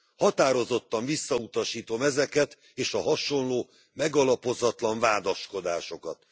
Határozottan visszautasítom ezeket és a hasonló, megalapozatlan vádaskodásokat.